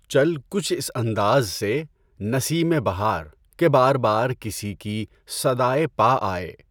چل کچھ اس انداز سے نسیم بہار کہ بار بار کسی کی صدائے پا آئے